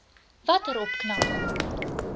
watter opknapping